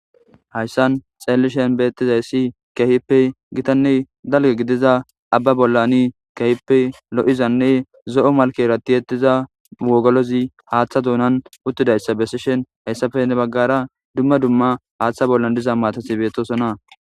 Hayssan xeellishen beettizayssi kehippe gitanne dalge gidiza abba bollani kehippe lo7izanne zo7o malkeratiettiza wogolozi haaththa duunan uttidayssa bessishen hayssafe ne baggara dumma dumma haaththa bollan diza maatathi bettosona.